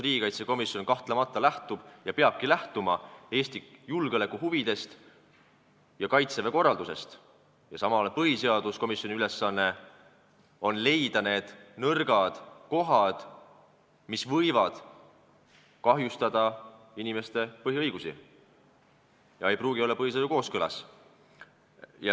Riigikaitsekomisjon kahtlemata lähtub ja peabki lähtuma Eesti julgeolekuhuvidest ja Kaitseväe korralduse vajadustest, samal ajal on põhiseaduskomisjoni ülesanne leida need nõrgad kohad, mis võivad kahjustada inimeste põhiõigusi ega pruugi olla põhiseadusega kooskõlas.